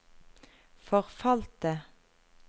forfalte